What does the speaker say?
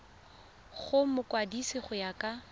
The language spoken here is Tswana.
go mokwadise go ya ka